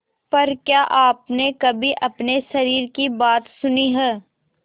पर क्या आपने कभी अपने शरीर की बात सुनी है